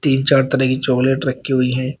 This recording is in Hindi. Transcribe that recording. तीन चार तरह की चॉकलेट रखी हुई है।